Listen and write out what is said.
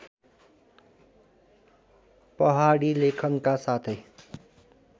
पहाडी लेखनका साथै